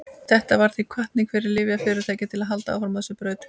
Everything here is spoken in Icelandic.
þetta varð því hvatning fyrir lyfjafyrirtæki til að halda áfram á þessari braut